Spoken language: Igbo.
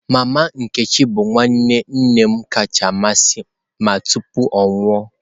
Mama nkechi bụ nwanne nne m kacha amasị m tupu ya anwụọ.